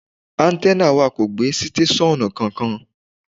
Áńtẹ́nà wà kò gbé sítéṣọ́ọ̀nù kankan.